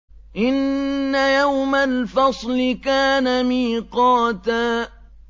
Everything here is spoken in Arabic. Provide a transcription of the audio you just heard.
إِنَّ يَوْمَ الْفَصْلِ كَانَ مِيقَاتًا